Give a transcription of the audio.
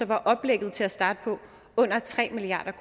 var oplægget til at starte med under tre milliard